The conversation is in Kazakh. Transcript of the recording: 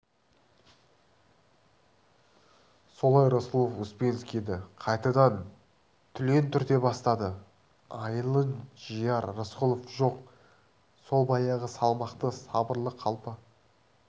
солай рысқұлов успенскийді қайтадан түлен түрте бастады айылын жияр рысқұлов жоқ сол баяғы салмақты сабырлы қалпы